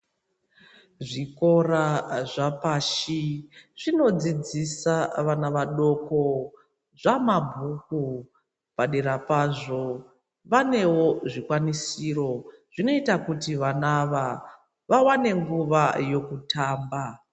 Zvikora zvapashi zvinodzidzisa vana vadoko zvamabhuku padera pazvo vanewo zvikwanisiro zvinoita kuti vana ava vawane nguwa yekutamba.